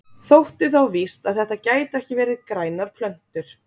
Þótti þá víst að þetta gætu ekki verið grænar plöntur.